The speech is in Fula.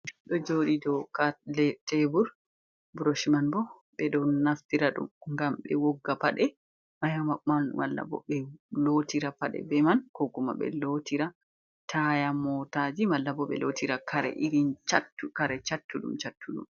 Brush ɗon joɗi dow tebur, buroshman bo ɓe ɗo naftira ɗum gam be wogga paɗe mayaɓan, mallabo ɓe lotira paɗe be man ko kuma ɓe lotira taya motaji, mallabo ɓe lottira kare irin chattu ɗum chattu ɗum.